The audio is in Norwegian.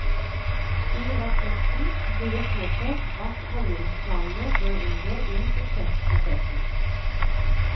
I rapporten blir det påpekt at handlingsplanene bør inngå i budsjettprosessen.